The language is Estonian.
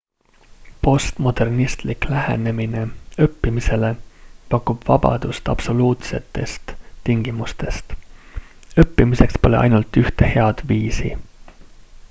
postmodernistlik lähenemine õppimisele pakub vabadust absoluutsetest tingimustest õppimiseks pole ainult ühte head viisi